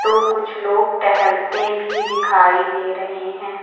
तो कुछ लोग टहलते भी दिखाई दे रहे हैं।